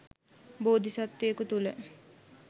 බෝධි සත්වයකු තුළ